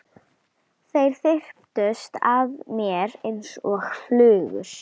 Þeir þyrptust að mér einsog flugur.